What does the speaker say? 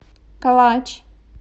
калач